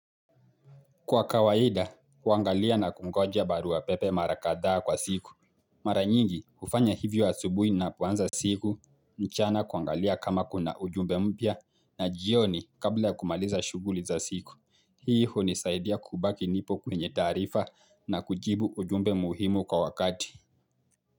Kwa kawaida, kuangalia na kungoja baruapepe mara kadhaa kwa siku. Mara nyingi, hufanya hivyo asubuhi na poanza siku, mchana kuangalia kama kuna ujumbe mpya na jioni kabla kumaliza shuguli za siku. Hii hunisaidia kubaki nipo kwenye taarifa na kujibu ujumbe muhimu kwa wakati.